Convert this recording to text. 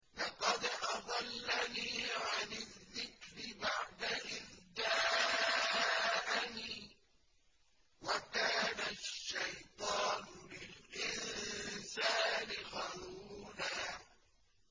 لَّقَدْ أَضَلَّنِي عَنِ الذِّكْرِ بَعْدَ إِذْ جَاءَنِي ۗ وَكَانَ الشَّيْطَانُ لِلْإِنسَانِ خَذُولًا